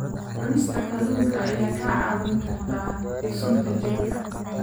Cunista kalluunka ayaa kaa caawin karta sunta jirka.